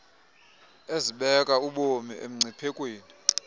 ezibeka ubomi emngciphekweni